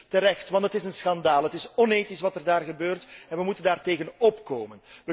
Terecht, want het is een schandaal! Het is onethisch wat er gebeurt en wij moeten daartegen optreden.